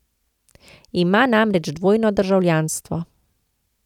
Ima namreč dvojno državljanstvo.